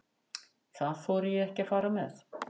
Það þori ég ekki að fara með.